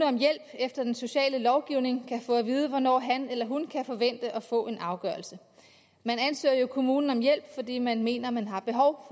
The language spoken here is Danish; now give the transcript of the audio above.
om hjælp efter den sociale lovgivning kan få at vide hvornår han eller hun kan forvente at få en afgørelse man ansøger jo kommunen om hjælp fordi man mener man har behov